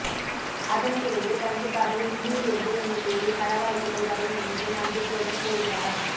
அதன்பிறகு கண்டிப்பாக இந்தியில் இருந்து என்னைத்தேடி படவாய்ப்புகள் வரும் என்று நம்பிக்கையுடன் கூறுகிறாராம்